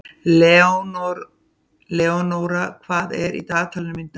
Leonóra, hvað er í dagatalinu mínu í dag?